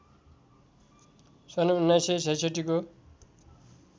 सन् १९६६ को